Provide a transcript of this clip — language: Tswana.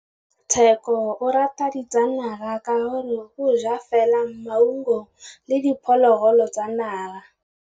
Tshekô o rata ditsanaga ka gore o ja fela maungo le diphologolo tsa naga.